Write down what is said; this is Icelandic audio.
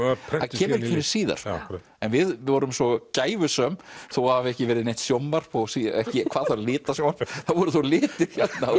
kemur ekki fyrr en síðar en við vorum svo gæfusöm þó það hafi ekki verið neitt sjónvarp hvað þá litasjónvarp það voru þá litir